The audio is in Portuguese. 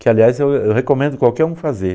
Que, aliás, eu eu recomendo qualquer um fazer.